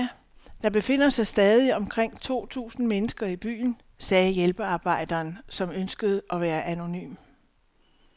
Der befinder sig stadig omkring to tusind mennesker i byen, sagde hjælpearbejderen, som ønskede at være anonym.